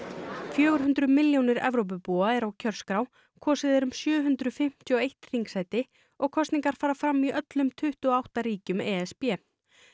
fjögur hundruð milljónir Evrópubúa eru á kjörskrá kosið er um sjö hundruð fimmtíu og eitt þingsæti og kosningar fara fram í öllum tuttugu og átta ríkjum e s b